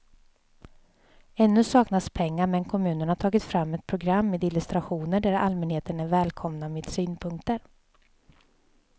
Ännu saknas pengar men kommunen har tagit fram ett program med illustrationer där allmänheten är välkomna med synpunkter.